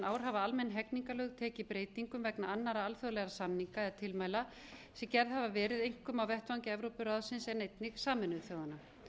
ár hafa almenn hegningarlög tekið breytingum vegna annarra alþjóðlegra samninga eða tilmæla sem gerð hafa verið einkum á vettvangi evrópuráðsins en einnig sameinuðu þjóðanna